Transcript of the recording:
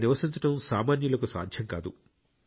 అక్కడ నివసించడం సామాన్యులకు సాధ్యం కాదు